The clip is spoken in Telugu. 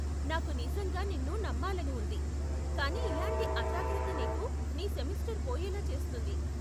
నాకు నిజంగా నిన్ను నమ్మాలని ఉంది, కానీ ఇలాంటి అజాగ్రత్త నీకు నీ సెమెస్టరు పోయేలా చేస్తుంది.